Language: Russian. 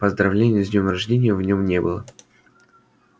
поздравления с днём рождения в нём не было